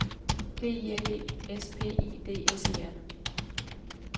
P I L E S P I D S E R